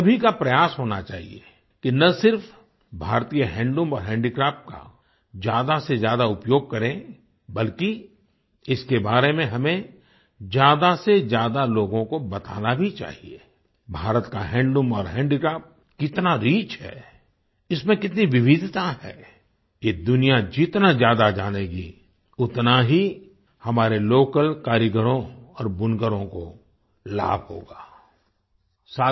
हम सभी का प्रयास होना चाहिए कि न सिर्फ भारतीय हैंडलूम और हैंडीक्राफ्ट का ज्यादासेज्यादा उपयोग करें बल्कि इसके बारे में हमें ज्यादासेज्यादा लोगों को बताना भी चाहिए आई भारत का हैंडलूम और हैंडीक्राफ्ट कितना रिच है इसमें कितनी विविधता है ये दुनिया जितना ज्यादा जानेगी उतना ही हमारे लोकल कारीगरों और बुनकरों को लाभ होगा आई